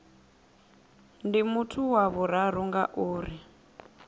ndi muthu wa vhuraru ngauri